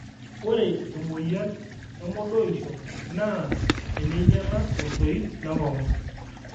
ore emoyian e modoonisho naa eneinyala osoit le nkongu